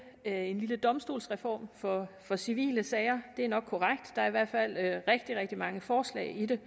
en lille domstolsreform for civile sager det er nok korrekt der er i hvert fald rigtig rigtig mange forslag i det